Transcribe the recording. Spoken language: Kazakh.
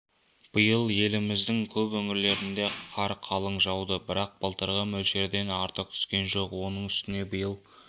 биыл еліміздің көп өңірлерінде қар қалың жауды бірақ былтырғы мөлшерден артық түскен жоқ оның үстіне биыл